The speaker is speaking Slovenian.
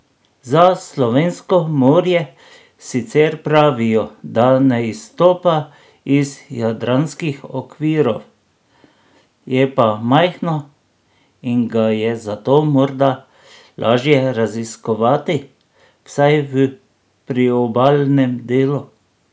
Za slovensko morje sicer pravijo, da ne izstopa iz jadranskih okvirov, je pa majhno in ga je zato morda lažje raziskovati, vsaj v priobalnem delu.